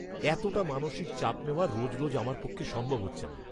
এতটা মানসিক চাপ নেওয়া রোজ রোজ আমার পক্ষে সম্ভব হচ্ছে না।